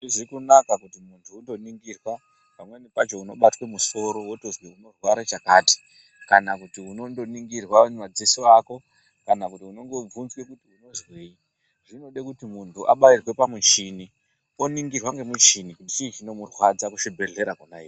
Zvakanaka kuti muntu undoningirwa pamweni pacho unobatwaa musoro wotozwa kuti unorwara chakati kana kuti unondoningirwa madziso Ako kana kuti unondovhunzwa uri kuzwei zvinoda kuti muntu abairwe pamuchini woningirwa nemuchini chii chinomurwadza kuzvibhedhlera Kona iyoyo.